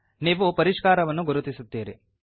ನೀವು ಪರಿಷ್ಕಾರವನ್ನು ಗುರುತಿಸುತ್ತೀರಿ